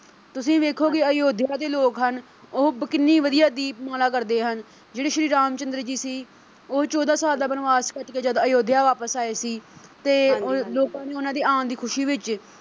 ਤੁਸੀਂ ਵੇਖੋਗੇ ਆਯੋਧਿਆ ਦੇ ਲੋਕ ਹਨ ਉਹ ਕਿੰਨੀ ਵਧੀਆ ਦੀਪਮਾਲਾ ਕਰਦੇ ਹਨ ਜਿਹੜੇ ਸ਼੍ਰੀ ਰਾਮ ਚੰਦਰ ਸੀ ਉਹ ਚੌਦਾ ਸਾਲ ਦਾ ਬਨਵਾਸ ਕੱਟ ਕੇ ਜਦ ਆਯੋਧਿਆ ਵਾਪਿਸ ਆਏ ਸੀ ਤੇ ਲੋਕਾਂ ਨੇ ਉਨ੍ਹਾਂ ਦੇ ਆਣ ਦੀ ਖੁਸ਼ੀ ਵਿੱਚ।